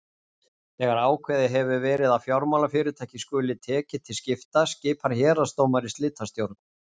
Þegar ákveðið hefur verið að fjármálafyrirtæki skuli tekið til slita skipar héraðsdómari slitastjórn.